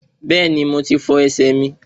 Bẹ́ẹ̀ni, mo ti fọ ẹsẹ̀ mi